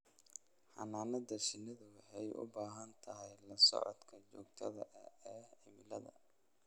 Xannaanada shinnidu waxay u baahan tahay la socodka joogtada ah ee cimilada.